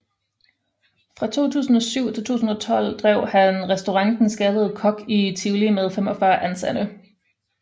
Fra 2007 til 2012 drev han Restaurant Den Skaldede Kok i Tivoli med 45 ansatte